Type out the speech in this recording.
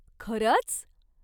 खरच?